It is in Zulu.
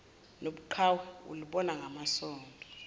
nobuqhawe ulibona ngamasondo